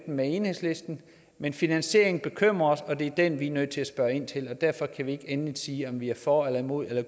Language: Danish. med enhedslisten men finansieringen bekymrer os og det er den vi er nødt til at spørge ind til og derfor kan vi ikke endeligt sige om vi er for eller imod eller